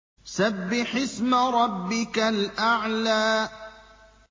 سَبِّحِ اسْمَ رَبِّكَ الْأَعْلَى